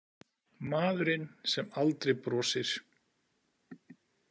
Maðurinn sem aldrei brosir.